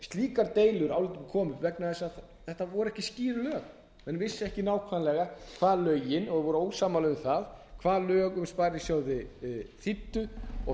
slíkar deilur komu upp vegnaþess að þetta voru ekki skýr lög menn vissu ekki nákvæmlega og voru ósammála um það hvað lög um sparisjóði þýddu og